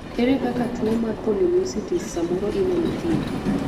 ere kaka tuo mar polymyositis samoro inyalo thiedhi